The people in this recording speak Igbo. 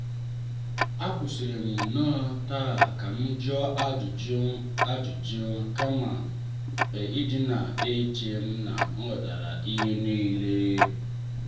a kwụsịrị m noo taa ka m jụọ ajụjụ ajụjụ kama ịdina eche na m ghọtara ihe niile.